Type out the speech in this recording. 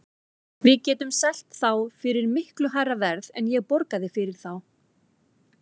Við getum selt þá fyrir miklu hærra verð en ég borgaði fyrir þá.